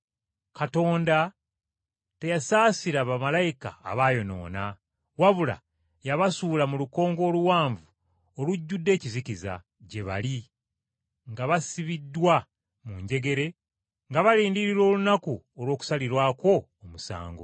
Katonda teyasaasira bamalayika abaayonoona, wabula yabasuula mu lukonko oluwanvu olujjudde ekizikiza, gye bali, nga basibiddwa mu njegere nga balindirira olunaku olw’okusalirwako omusango.